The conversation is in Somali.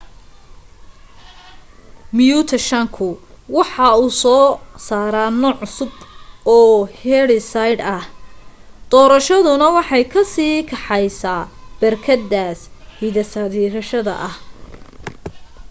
miyuutayshanku waxa uu soo saara nooc cusub oo hiddeside ah doorashaduna waxay ka sii kaxaysaa berkedaas hiddesideyaasha aha